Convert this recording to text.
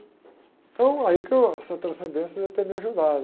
Então, aí que eu, essa transcendência deve ter me ajudado.